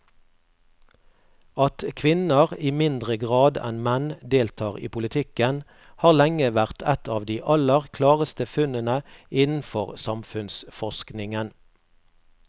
At kvinner i mindre grad enn menn deltar i politikken har lenge vært et av de aller klareste funnene innenfor samfunnsforskningen.